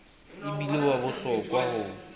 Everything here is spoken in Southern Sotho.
e bile wa bohlokwa ho